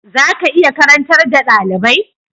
Za ka iya karantar da dalibai?